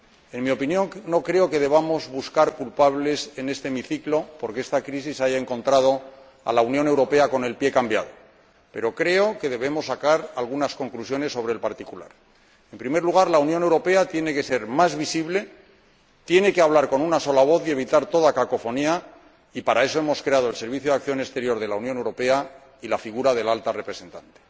En mi opinión, no creo que debamos buscar culpables en este hemiciclo porque esta crisis haya encontrado a la Unión Europea con el pie cambiado, pero creo que debemos sacar algunas conclusiones sobre el particular. En primer lugar, la Unión Europea tiene que ser más visible, tiene que hablar con una sola voz y evitar toda cacofonía, y para eso hemos creado el Servicio Europeo de Acción Exterior y la figura del Alto Representante.